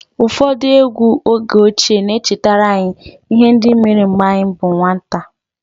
Ụfọdụ egwú oge ochie na-echetara anyị ihe ndị mere mgbe anyị bụ nwata